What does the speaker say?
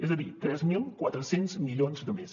és a dir tres mil quatre cents milions de més